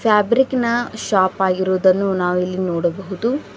Fabric ನ shop ಆಗಿರುವುದನ್ನು ನಾವು ಇಲ್ಲಿ ನೋಡಬಹುದು.